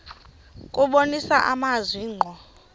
kubonisa amazwi ngqo